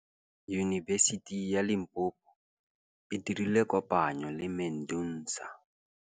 Yunibesiti ya Limpopo e dirile kopanyô le MEDUNSA.